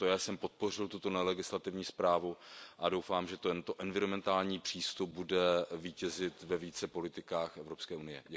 Proto já jsem podpořil tuto nelegislativní zprávu a doufám, že tento environmentální přístup bude vítězit ve více politikách Evropské unie.